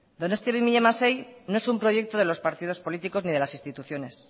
donostia dos mil dieciséis no es un proyecto de los partidos políticos ni de las instituciones